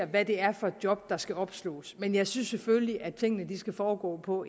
hvad det er for et job der skal opslås men jeg synes selvfølgelig at tingene skal foregå på